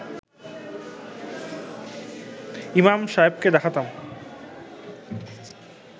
ইমাম সাহেবকে দেখাতাম